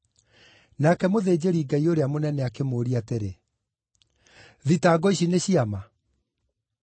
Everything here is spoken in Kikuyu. Nake mũthĩnjĩri-Ngai ũrĩa mũnene akĩmũũria atĩrĩ, “Thitango ici nĩ cia ma?”